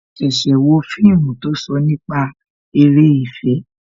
A ṣẹ̀ṣẹ̀ wo fíìmù tó sọ nípa eré ìfẹ́